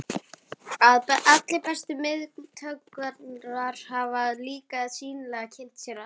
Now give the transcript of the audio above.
Allir bestu myndhöggvarar hafa líka sýnilega kynnt sér hana.